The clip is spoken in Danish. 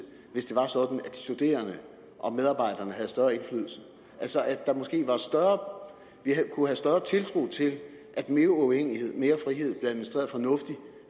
hvis det var sådan at de studerende og medarbejderne havde større indflydelse altså at vi kunne have større tiltro til at mere uafhængighed mere frihed blev administreret fornuftigt